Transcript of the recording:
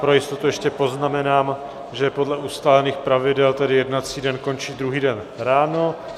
Pro jistotu ještě poznamenám, že podle ustálených pravidel tedy jednací den končí druhý den ráno.